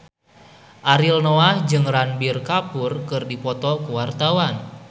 Ariel Noah jeung Ranbir Kapoor keur dipoto ku wartawan